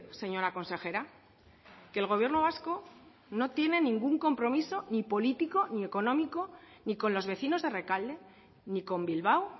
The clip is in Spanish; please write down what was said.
señora consejera que el gobierno vasco no tiene ningún compromiso ni político ni económico ni con los vecinos de rekalde ni con bilbao